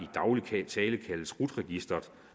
tale kaldes rut registret